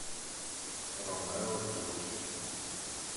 хромео джус